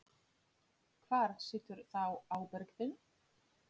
Hvar situr þá ábyrgðin?